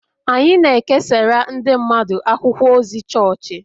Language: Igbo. Anyị na-ekesara ndị mmadụ akwụkwọ ozi chọọchị